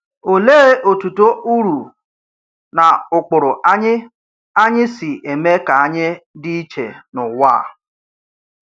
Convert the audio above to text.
Òlèè òtùtò ùrụ̀ nà ụ̀kpụrụ anyị anyị sὶ eme kà anyị dὶ iche n’ụ̀wà?